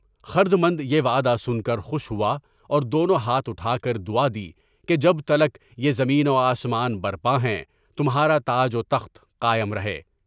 خردمند یہ وعدہ سن کر خوش ہوا اور دونوں ہاتھ اٹھا کر دعا کی کہ جب تک یہ زمین و آسمان برپا ہیں تمہارا تاج و تخت قائم رہے۔